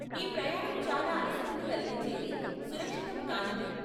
ఈ ప్రయాణం చాలా అలసటను కలిగించేది, సురక్షితం కానిది.